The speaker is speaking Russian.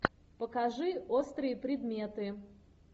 покажи острые предметы